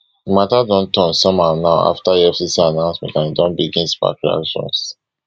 di mata don turn somehow now afta efcc announcement and e don begin spark reactions